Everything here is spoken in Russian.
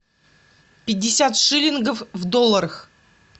пятьдесят шиллингов в долларах